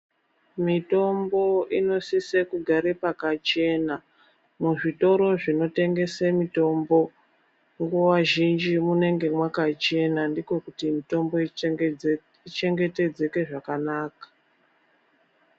Mitombo inosise kugare pakachena muzvitoro zvinotengese mitombo nguwa zhinji munenge mwakachena ndiko kuti mitombo ichengetedzeke zvakanaka.